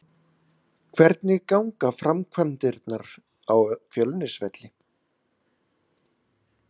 Hvernig ganga framkvæmdirnar á Fjölnisvelli?